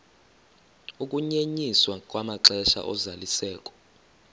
ukunyenyiswa kwamaxesha ozalisekiso